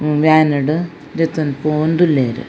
Van ಡ್ ದೆತೊಂದು ಪೋವೊಂದು ಉಲ್ಲೆರ್.